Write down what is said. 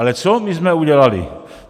Ale co my jsme udělali?